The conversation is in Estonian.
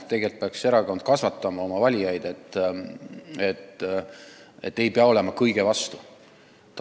Tegelikult peaks erakond oma valijaid veenma, et ei pea olema kõige vastu.